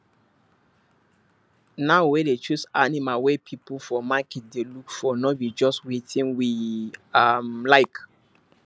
now we dey choose animal wey people for market dey look for no be just wetin we um like